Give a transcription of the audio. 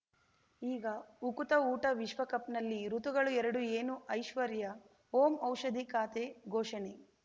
ಈಗ ಉಕುತ ಊಟ ವಿಶ್ವಕಪ್‌ನಲ್ಲಿ ಋತುಗಳು ಎರಡು ಏನು ಐಶ್ವರ್ಯಾ ಓಂ ಔಷಧಿ ಖಾತೆ ಘೋಷಣೆ